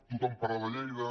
tothom parla de lleida